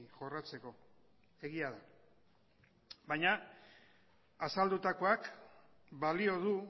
jorratzeko egia da baina azaldutakoak balio du